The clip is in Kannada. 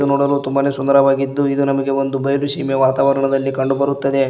ನೋಡಲು ತುಂಬಾನೆ ಸುಂದರವಾಗಿದ್ದು ಇದು ನಮಗೆ ಒಂದು ಬಯಲು ಸೀಮೆಯ ವಾತಾವರಣದಲ್ಲಿ ಕಂಡು ಬರುತ್ತದೆ.